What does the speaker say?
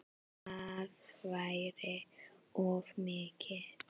Það væri of mikið.